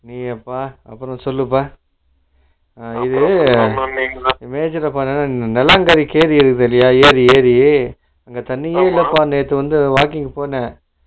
நீ அப்பா அப்பறம் சொல்லுப்பா silent நலாம்பாரி ஏரி இருக்கு இல்லையா ஏரி ஏரி அங்க தண்ணியே இல்லப்பா நேத்து வந்து walking போனேன்